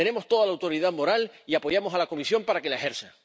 Tenemos toda la autoridad moral y apoyamos a la Comisión para que la ejerza.